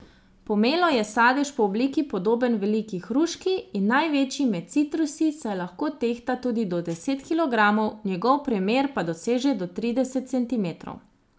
Pomelo je sadež po obliki podoben veliki hruški in največji med citrusi, saj lahko tehta tudi do deset kilogramov, njegov premer pa doseže do trideset centimetrov.